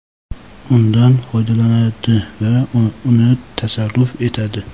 undan foydalanadi va uni tasarruf etadi.